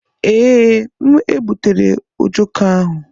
Ee, m egbutere ojoko ụnyaahụ.